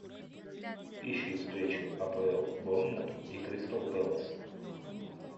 ищи встречу апл борнмут и кристал пэлас